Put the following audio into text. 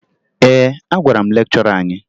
Ee, agwara m lekchọra anyị